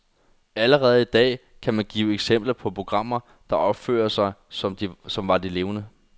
Allerede i dag kan man give eksempler på programmer, der opfører sig, som var de levende.